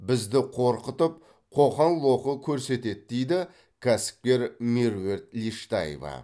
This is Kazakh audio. бізді қорқытып қоқан лоқы көрсетеді дейді кәсіпкер меруерт лештаева